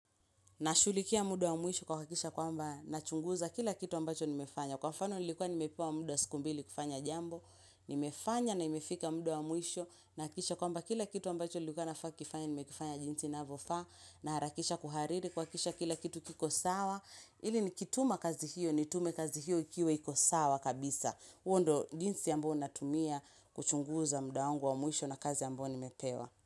Nashughulikia muda wa mwisho kuhakakisha kwamba nachunguza kila kitu ambacho nimefanya. Kwa mfano nilikuwa nimepewa mda wa siku mbili kufanya jambo. Nimefanya na imefika mda wa mwisho nahakikisha kwamba kila kitu ambacho nilikuwa nafaa kifanye nimekifanya jinsi inavyofaa. Naharakisha kuhariri kuhakisha kila kitu kiko sawa. Ili ni kituma kazi hiyo ni tume kazi hiyo ikiwa iko sawa kabisa. Huo ndo jinsi ambao natumia kuchunguza muda wangu wa mwisho na kazi ambayo ni mepewa.